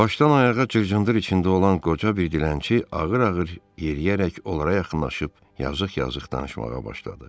Başdan ayağa cırtdır içində olan qoca bir dilənçi ağır-ağır yeriyərək onlara yaxınlaşıb yazıq-yazıq danışmağa başladı.